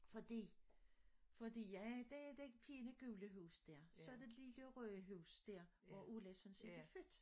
Fordi fordi jeg det fine gule hus dér så der lige det røde hus dér hvor Ulla sådan set er født